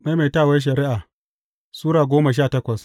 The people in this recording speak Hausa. Maimaitawar Shari’a Sura goma sha takwas